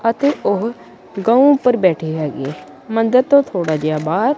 ਅਤੇ ਉਹ ਗਊ ਪਰ ਬੈਠੀ ਹੈਗੀ ਮੰਦਿਰ ਤੋਂ ਥੋੜਾ ਜਿਹਾ ਬਾਹਰ--